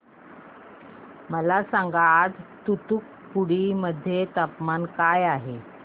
मला सांगा आज तूतुकुडी मध्ये तापमान काय आहे